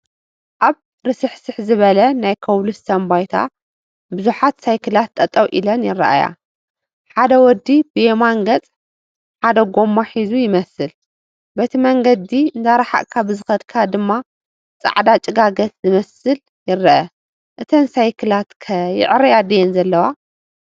ኣብ ርስሕስሕ ዝበለ ናይ ኮብልስቶን ባይታ ብዙሓት ሳይክላት ጠጠው ኢለን ይረአያ፡፡ ሓደ ወዲ ብየማን ገፅ ሓደ ጎማ ሒዙ ይመስል፡፡ በቲ መንገዲ እንዳራሓቕካ ብዝኸድካ ድማ ፃዕዳ ጭጋገት ዝመስል ይረአ፡፡ እተን ሳይክላት ከ ይዕረያ ድየን ዘለዋ?